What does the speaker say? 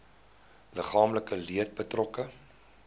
liggaamlike leed betrokke